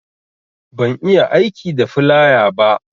Ban iya aiki da filaya ba